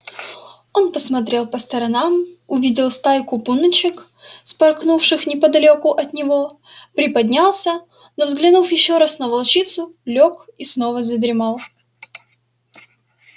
он посмотрел по сторонам увидел стайку пуночек вспорхнувших неподалёку от него приподнялся но взглянув ещё раз на волчицу лёг и снова задремал